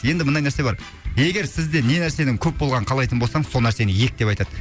енді мынадай нәрсе бар егер сізде не нәрсенің көп болғанын қалайтын болсаң сол нәрсені ек деп айтады